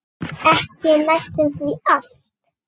Ekki næstum því allt.